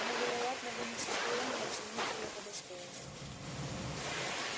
но вероятно вы не в состоянии оценить её по достоинству